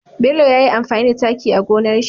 Bello yayi amfani da taki a gonar shi